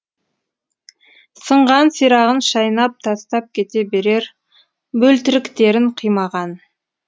сынған сирағын шайнап тастап кете берер бөлтіріктерін қимаған